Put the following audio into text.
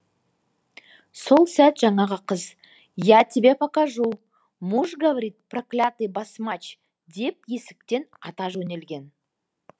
сол сәт жаңағы қыз я тебе покажу муж говорит проклятый басмач деп есіктен ата жөнелген